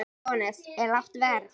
Jóhannes: Er lágt verð?